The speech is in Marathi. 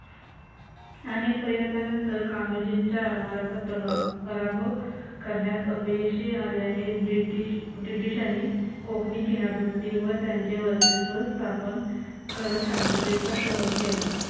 अनेक प्रयत्नानंतर कान्होजींच्या आरमाराचा प्रभाव पराभव करण्यात अपयशी आल्याने ब्रिटिश ब्रिटिशांनी कोकणी किनारपट्टीवर त्यांचे वर्चस्व स्थापन करत शांततेचा तह केला.